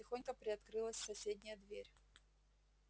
тихонько приоткрылась соседняя дверь